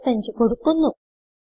35 കൊടുക്കുന്നു